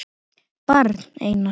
Barn: Einar.